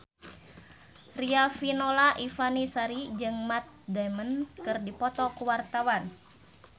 Riafinola Ifani Sari jeung Matt Damon keur dipoto ku wartawan